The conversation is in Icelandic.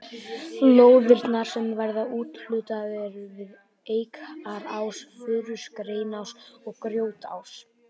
Lóðirnar sem verður úthlutað eru við Eikarás, Furuás, Greniás og Grjótás.